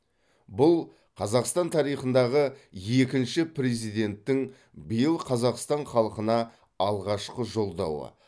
бұл қазақстан тарихындағы екінші президенттің биыл қазақстан халқына алғашқы жолдауы